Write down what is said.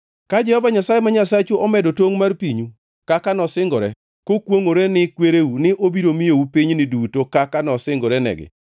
Ka Jehova Nyasaye ma Nyasachu omedo tongʼ mar pinyu, kaka nosingore kokwongʼore ni kwereu, ni obiro miyou pinyni duto kaka nosingorenegi,